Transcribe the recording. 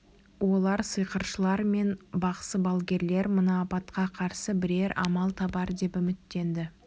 олар сиқыршылар мен бақсы-балгерлер мына апатқа қарсы бірер амал табар деп үміттенді